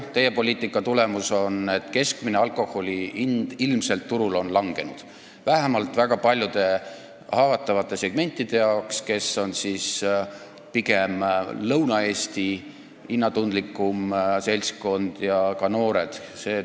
Teie poliitika tulemus on, et alkoholi keskmine hind turul on ilmselt langenud, vähemalt väga paljude haavatavate segmentide jaoks, mille moodustavad suures osas Lõuna-Eesti hinnatundlikum seltskond ja ka noored.